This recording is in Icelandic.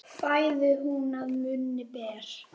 Fæðu hún að munni ber.